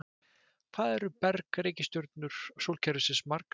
Hvað eru berg-reikistjörnur sólkerfisins margar?